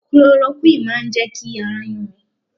Cloroquine máa jẹ́ kí ara yún mi.